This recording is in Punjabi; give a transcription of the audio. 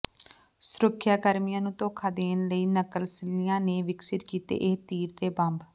ਸੁਰੱਖਿਆਕਰਮੀਆਂ ਨੂੰ ਧੋਖਾ ਦੇਣ ਲਈ ਨਕਸਲੀਆਂ ਨੇ ਵਿਕਸਿਤ ਕੀਤੇ ਇਹ ਤੀਰ ਤੇ ਬੰਬ